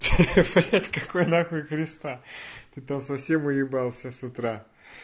ахаха блять какой нахуй креста ты там совсем уебался с утра